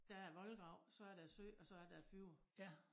Der er æ voldgrav så der æ sø og så er der æ fjord